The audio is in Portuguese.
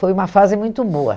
Foi uma fase muito boa.